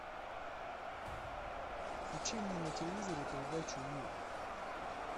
включи мне на телевизоре передачу ю